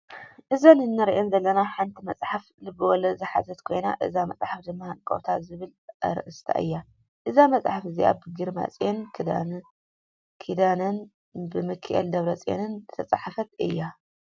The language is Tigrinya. እዛ እንሪኣ ዘለና ሓንቲ መፅሓፍ ልበወለድ ዝሓዘት ኮይና እዛ መፅሓፍ ድማ ሃንቀውታ ዝብል ኣርእስታ እያ። እዛ መፅሓፍ እዚኣ ብግርማፅዮን ኪዳነን ብሚከኤለ ደብረፅዮንን ዝተፃሓፈት እያ።